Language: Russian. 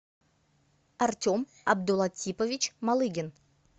артем абдулатипович малыгин